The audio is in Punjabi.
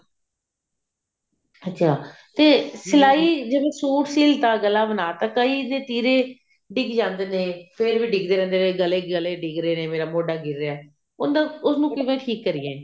ਅੱਛਿਆ ਤੇ ਸਲਾਈ ਜਿਵੇਂ ਸੂਟ ਸਿਲਤਾ ਗਲਾ ਬਨਾਤਾ ਕਈ ਤੇ ਤਿਰੇ ਡਿੱਗ ਜਾਂਦੇ ਨੇ ਫ਼ੇਰ ਵੀ ਡਿੱਗਦੇ ਰਹਿੰਦੇ ਨੇ ਗਲੇ ਡਿੱਗ ਰਹੇ ਨੇ ਮੇਰਾ ਮੋਢਾ ਡਿੱਗ ਰਿਹਾ ਉਹਨੂੰ ਕਿਵੇਂ ਠੀਕ ਕਰੀਏ